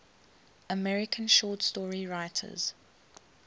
american short story writers